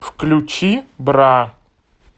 включи бра